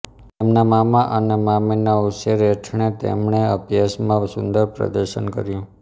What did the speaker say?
તેમના મામા અને મામીના ઉછેર હેઠણે તેમણે અભ્યાસમાં સુંદર પ્રદર્શન કર્યું